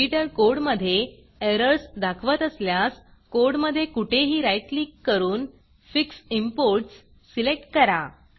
editor कोडमधे errors दाखवत असल्यास कोडमधे कुठेही राईट क्लिक करून फिक्स Importsफिक्स इंपोर्ट्स सिलेक्ट करा